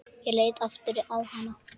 Ég leit aftur á hana.